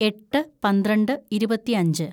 എട്ട് പന്ത്രണ്ട് ഇരുപത്തിയഞ്ച്‌